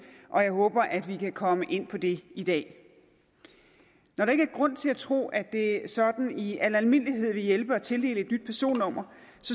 og jeg håber at vi kan komme ind på det i dag når der ikke er grund til at tro at det sådan i al almindelighed vil hjælpe at tildele et nyt personnummer